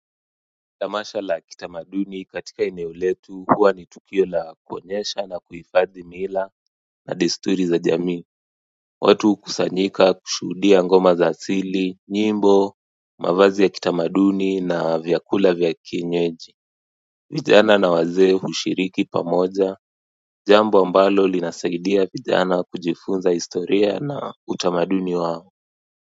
Tamasha la kitamaduni katika eneo letu huwa ni tukio la kuonyesha na kuifadhi mila na desturi za jamii Watu hukusanyika kushuhudia ngoma za asili, nyimbo, mavazi ya kitamaduni na vyakula vya kienyeji vijana na wazee hushiriki pamoja, jambo ambalo linasaidia vijana kujifunza historia na utamaduni wao.